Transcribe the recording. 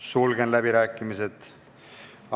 Sulgen läbirääkimised.